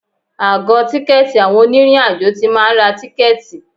Àgọ tìkẹ̀tí àwọn onírin àjò tí máa ń ra tìkẹ̀tí.